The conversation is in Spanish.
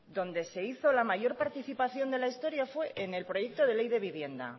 donde se hizo la mayor participación de la historia fue en el proyecto de ley de vivienda